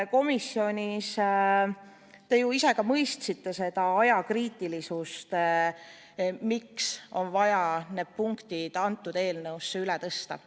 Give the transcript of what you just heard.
Komisjonis te ju ise ka mõistsite seda ajakriitilisust, miks on vaja need punktid kõnealusesse eelnõusse ümber tõsta.